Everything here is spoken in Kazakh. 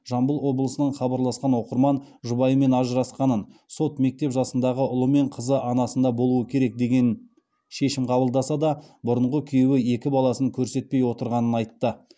жамбыл облысынан хабарласқан оқырман жұбайымен ажырасқанын сот мектеп жасындағы ұлы мен қызы анасында болуы керек деген шешім қабылдаса да бұрынғы күйеуі екі баласын көрсетпей отырғанын айтты